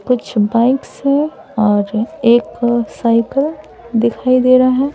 कुछ बाइक्स हैं और एक साइकिल दिखाई दे रहा हैं।